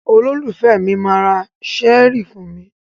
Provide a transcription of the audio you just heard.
Olólùfẹ́ mi máa ra ṣẹ́ẹ́rì fún mi.